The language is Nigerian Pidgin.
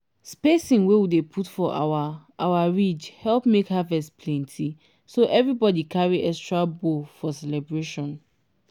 spacing wey we dey put for our our ridge help make harvest plenty so everybody carry extra bowl for celebration.